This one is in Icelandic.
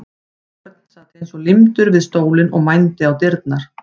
Örn sat eins og límdur við stólinn og mændi á dyrnar.